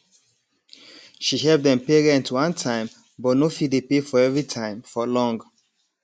she help dem pay rent one time but no fit dey pay for every time for long